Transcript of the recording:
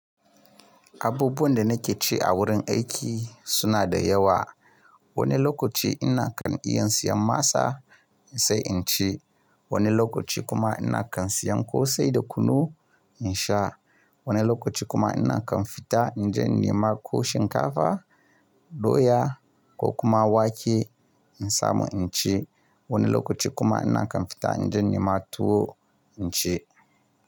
Abubuwan da nake ci a wurin aiki suna da yawa. Wani lokaci ina kan iya siyan masa in sai in ci. Wani lokaci kuma ina kan siyan ƙosai da kunu in sha. Wani lokaci kuma ina kan fita in je ni yi ma ko shinkafa, doya ko kuma wake in samu in ci. Wani lokaci kuma ina kan fita in je ni yi ma tuwo in ci.